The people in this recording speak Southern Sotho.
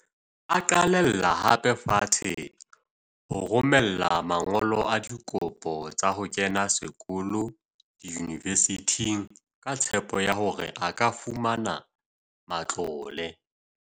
A qalella hape fatshe ho rome la man golo a dikopo tsa ho kena sekolo diyunivesithing ka tshepo ya hore a ka fumana matlole.